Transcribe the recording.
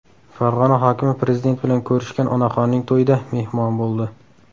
Farg‘ona hokimi Prezident bilan ko‘rishgan onaxonning to‘yida mehmon bo‘ldi.